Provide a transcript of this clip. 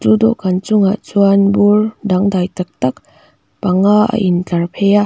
an chungah chuan bur dangdai taktak panga a in tlar phei a.